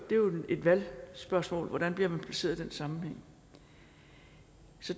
jo et valgspørgsmål hvordan man bliver placeret i den sammenhæng